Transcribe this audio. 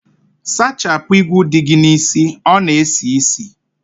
Sachapụ igwu dị gị n'isi, ọ na esi isi